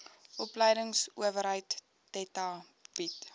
opleidingsowerheid theta bied